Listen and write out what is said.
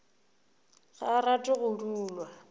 ga a rate go dulwa